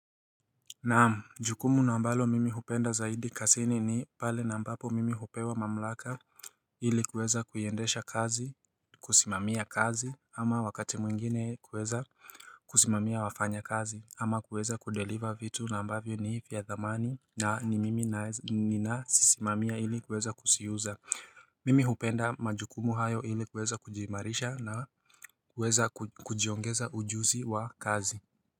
Naam jukumu na ambalo mimi hupenda zaidi kasini ni pale na ambapo mimi hupewa mamlaka ili kuweza kuiendesha kazi kusimamia kazi ama wakati mwingine kuweza kusimamia wafanyakazi ama kuweza kudeliver vitu na ambavyo ni ivya dhamani na ni mimi na ninasisimamia ili kuweza kusiuza mimi hupenda majukumu hayo ili kweza kujimarisha na kuweza kujiongeza ujuzi wa kazi.